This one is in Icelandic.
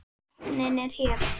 Botninn er hér!